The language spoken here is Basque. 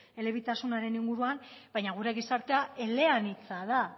elebitasunaren inguruan baina gure gizartea eleanitza da